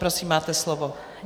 Prosím, máte slovo.